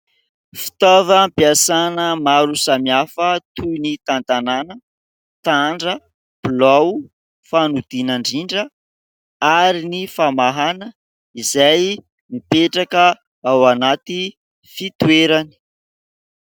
Fitaovam-piasana maro samihafa toy ny tantanàna, tandra, bolao, fanodinandrindra ary ny famahana, izay mipetraka ao anaty fitoerany.